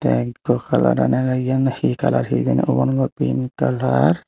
kalaran agey eyen he kalar hijeni ubon dow pink kalar.